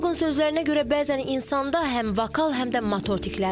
Psixoloqun sözlərinə görə bəzən insanda həm vokal, həm də motor tiklər olur.